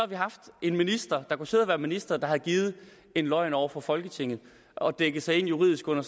vi haft en minister der kunne sidde og være minister og have givet en løgn over for folketinget og dækket sig ind juridisk under